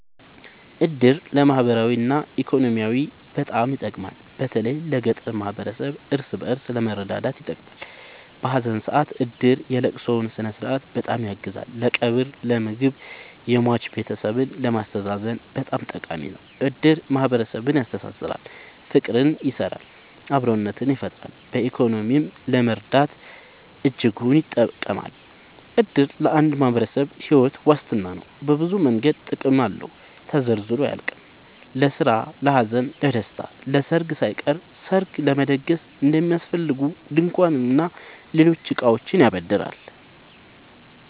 እድር ለማህበራዊ እና ኢኮኖሚያዊ በጣም ይጠቅማል። በተለይ ለገጠር ማህበረሰብ እርስ በእርስ ለመረዳዳት ይጠቅማል። በሀዘን ሰአት እድር የለቅሶውን ስነስርዓት በጣም ያግዛል ለቀብር ለምግብ የሟች ቤተሰብን ለማስተዛዘን በጣም ጠቃሚ ነው። እድር ማህረሰብን ያስተሳስራል። ፍቅር ይሰራል አብሮነትን ይፈጥራል። በኢኮኖሚም ለመረዳዳት እጅጉን ይጠብማል። እድር ለአንድ ማህበረሰብ ሒወት ዋስትና ነው። በብዙ መንገድ ጥቅም አለው ተዘርዝሮ አያልቅም። ለስራ ለሀዘን ለደሰታ። ለሰርግ ሳይቀር ሰርግ ለመደገስ የሚያስፈልጉ ድንኳን እና ሌሎች እቃዎችን ያበድራል